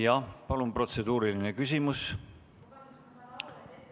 Jah, palun, protseduuriline küsimus!